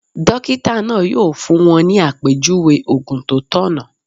Dókítà náà yóò fún wọn ní àpèjúwe ògùn tó tọ̀nà